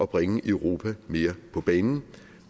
bringe europa mere på banen